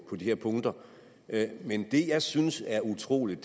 på de her punkter men det jeg synes er utroligt